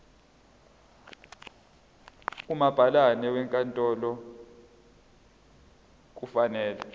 umabhalane wenkantolo kufanele